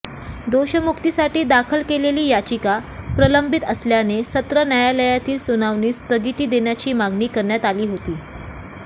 दोषमुक्तीसाठी दाखल केलेली याचिका प्रलंबित असल्याने सत्र न्यायालयातील सुनावणीस स्थगिती देण्याची मागणी करण्यात आली होती